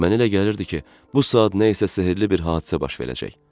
Mənə elə gəlirdi ki, bu saat nə isə sehrli bir hadisə baş verəcək.